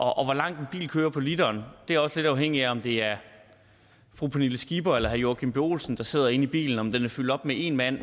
hvor langt en bil kører på literen er også lidt afhængig af om det er fru pernille skipper eller herre joachim b olsen der sidder inde i bilen om den er fyldt op med en mand